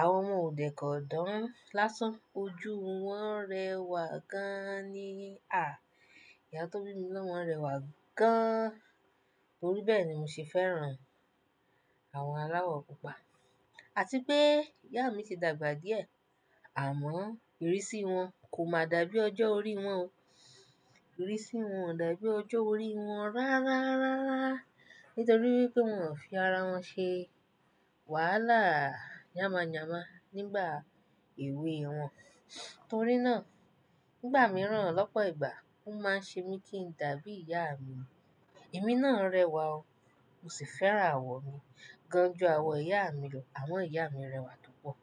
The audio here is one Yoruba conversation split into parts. Àwọ wọn ò dẹ̀ kọ dán lásán. Ojú wọn rẹwà gaaani. Àh, ìyá tó bí mi lọ́mọ rẹwà gaaán. Torí bẹ́ẹ̀ ni mo se fẹ́ràn àwọ̀n aláwọ̀ pupa. Àti pé ìyá mi ti dàgbà díẹ̀, àmọ́ ìrísí wọn kò máa dàbí ọjọ́ orí wọn o. Ìrísí wọn ò dàbí ọjọ́ orí wọn rárárárá. Nítorí wipé wọn ò fi ara wọn ṣe wàhálà yáma yáma nígbà èwe wọn. Torí náà nígbà mìíràn lọ́pọ̀ ìgbà ó máa ń ṣe mí kí n dàbí ìyá mi. Ẹ̀mí náà rẹwà o. Mo sì fẹ́ràn àwọ̀ mi gan ju àwọ̀ ìyá mi lọ. Àmo ìyá mi rẹwà púpọ̀.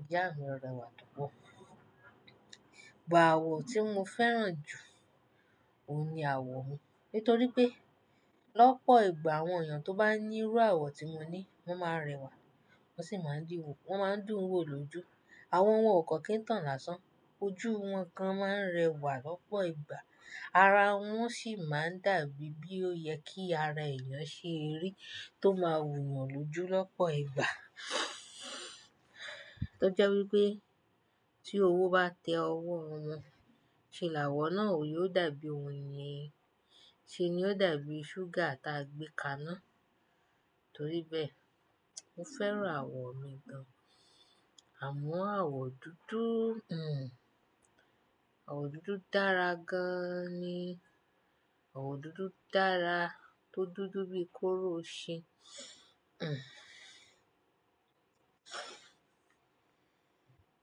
Ìyá mi rẹwà púpọ̀. But àwọ̀ tí mo fẹ́ràn jù, òun ni àwọ̀ mi. Nítorí pé lọ́pọ̀ ìgbà àwọn èèyàn tó bá ní irú àwọ̀ tí mo ní, wọ́n máa ń rẹwà. Wọ́n sì máa ń dìwò. Wọ́n máa ń dùn wò lójú. Àwọ wọn ò ko kí ń tàn lásán. Ojú wọn gan máa ń rẹwà lọ́pọ̀ ìgbà. Ara wọn sì máa ń dàbí bí ó yẹ kí ara èèyàn ṣe rí tó máa wù wọ́n lójú lọ́pọ̀ ìgbà. Tọ jẹ́ wípé tí owo bá tẹ ọwọ́ wọn, ṣé láwọ̀ náà ò yóò dàbí oyin? Ṣé ní yóò dàbí ṣúgà ta gbé ka ná? Torí bẹ́ẹ̀, mo fẹ́ràn àwọ̀ mi gan. Àmọ́ àwọ̀ dúdú, hm, àwọ̀ dúdú dára gan-an ni. Àwọ̀ dúdú dára tó dúdú bíi kóóró o ṣin. Hm.